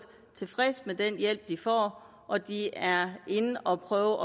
tilfredse med den hjælp de får og de er inde at prøve